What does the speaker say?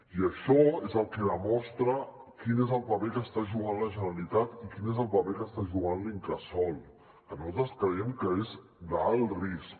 i això és el que demostra quin és el paper que està jugant la generalitat i quin és el paper que està jugant l’incasòl que nosaltres creiem que és d’alt risc